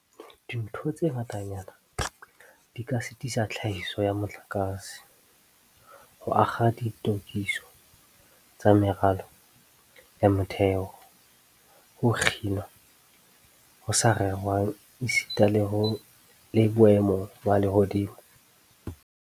Dintho tse ngatanyana di ka sitisa tlhahiso ya motlakase, ho akga ditokiso tsa meralo ya motheo, ho kginwa ho sa rerwang esita le boemo ba lehodimo.